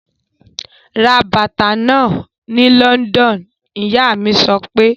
Ra bàtà náà ni London! Ìyá mí sọ pé.